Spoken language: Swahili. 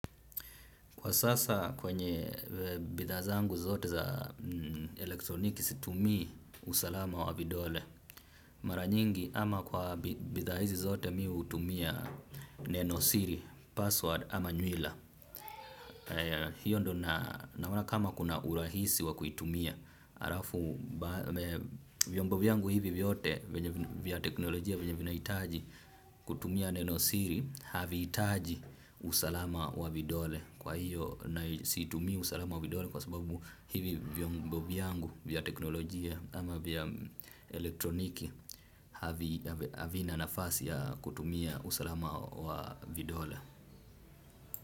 Kwa sasa kwenye bidhaa zangu zote za elektroniki situmii usalama wa vidole, mara nyingi ama kwa bidhaa hizi zote mi hutumia nenosiri, password ama nywila. Hiyo ndo naona kama kuna urahisi wa kuitumia. Vyombo vyangu hivi vyote vya teknolojia vyenye vinahitaji kutumia neno siri havihitaji usalama wa vidole. Kwa hiyo na situmii usalama wa vidole kwa sababu hivi vyombo vyangu vya teknolojia ama vya elektroniki havina nafasi ya kutumia usalama wa vidole.